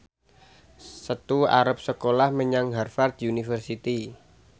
Setu arep sekolah menyang Harvard university